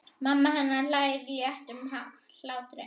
Mamma hennar hlær léttum hlátri.